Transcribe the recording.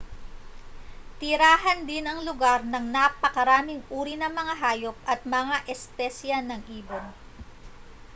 tirahan din ang lugar ng napakaraming uri ng mga hayop at mga espesye ng ibon